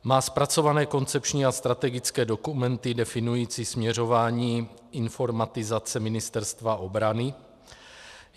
Má zpracované koncepční a strategické dokumenty definující směřování informatizace Ministerstva obrany.